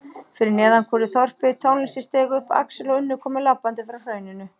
Fyrir neðan kúrði þorpið, tónlistin steig upp, Axel og Unnur komu labbandi frá hrauninu.